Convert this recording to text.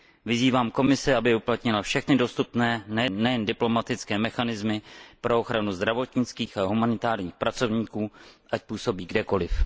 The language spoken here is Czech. Vyzývám Komisi, aby uplatnila všechny dostupné, nejen diplomatické, mechanismy pro ochranu zdravotnických a humanitárních pracovníků, ať působí kdekoliv.